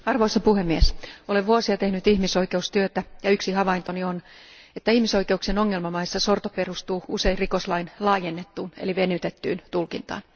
Arvoisa puhemies, olen vuosia tehnyt ihmisoikeustyötä ja yksi havaintoni on, että ihmisoikeuksien ongelmamaissa sorto perustuu usein rikoslain laajennettuun eli venytettyyn tulkintaan.